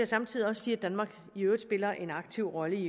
samtidig sige at danmark i øvrigt spiller en aktiv rolle